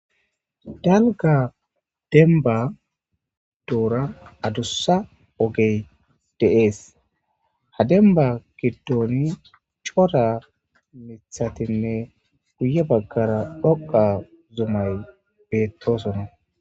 dalga demba duura adussa ogey deees ha denba giddooni coda mithatinne guye baggara dhoqa zumay beettoosonna